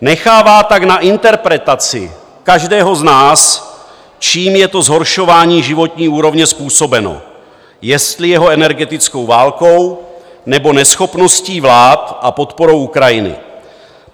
Nechává tak na interpretaci každého z nás, čím je to zhoršování životní úrovně způsobeno, jestli jeho energetickou válkou, nebo neschopností vlád a podporou Ukrajiny.